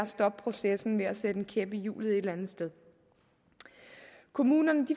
stoppe processen med at sætte en kæp i hjulet et eller andet sted kommunerne